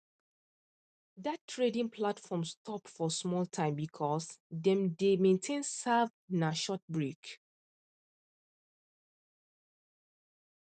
that trading platform stop for small time because dem dem dey maintain serve na short break